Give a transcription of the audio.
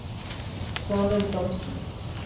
Svanhild Thomsen